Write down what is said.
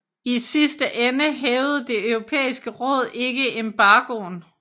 I sidste ende hævede Det Europæiske Råd ikke embargoen